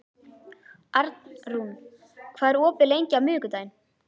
Arnrún, hvað er opið lengi á miðvikudaginn?